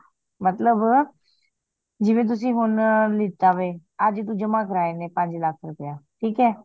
ਮਤਲਬ ਜਿਵੇਂ ਤੁਸੀ ਹੁਣ ਲੀਤਾ ਵੇ ਅੱਜ ਤੂੰ ਜਮਾ ਕਰਾਏ ਨੇ ਪੰਜ ਲੱਖ ਰੁਪਯਾ ਠੀਕ ਆ